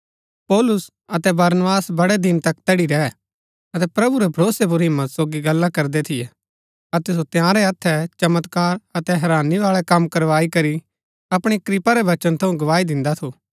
पौलुस अतै बरनबास बड़ै दिन तक तैड़ी रैह अतै प्रभु रै भरोसै पुर हिम्मत सोगी गल्ला करदै थियै अतै सो तंयारै हत्थै चमत्कार अतै हैरानी बाळै कम करवाई करी अपणी कृपा रै वचन थऊँ गवाही दिन्दा थु